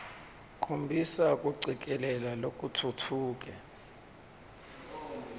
khombisa kucikelela lokutfutfuke